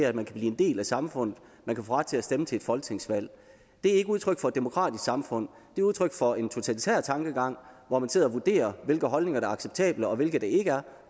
at man kan blive en del af samfundet at man kan få ret til at stemme til et folketingsvalg det er ikke udtryk for et demokratisk samfund det er udtryk for en totalitær tankegang hvor man sidder og vurderer hvilke holdninger der er acceptable og hvilke der ikke er